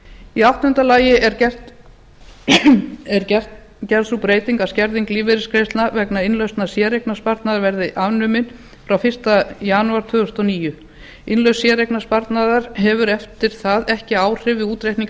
í áttunda lagi er gerð sú breyting að skerðing lífeyrisgreiðslna vegna innlausnar séreignarsparnaðar verði afnumin frá fyrsta janúar tvö þúsund og níu innlausn séreignarsparnaðar hefur eftir það ekki áhrif við útreikning